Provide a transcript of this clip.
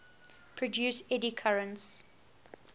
produce eddy currents